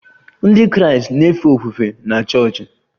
Ndị Kraịst na-efe ofufe na chọọchị